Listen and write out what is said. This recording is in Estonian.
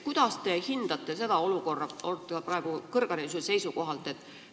Kuidas te hindate seda olukorda praegu kõrghariduse vaatevinklist?